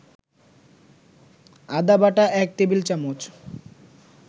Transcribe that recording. আদাবাটা ১ টেবিল-চামচ